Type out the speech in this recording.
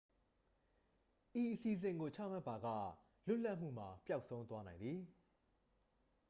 ဤအစီအစဉ်ကို ချမှတ်ပါက လွတ်လပ်မှုမှာ ပျောက်ဆုံးသွားနိုင်သည်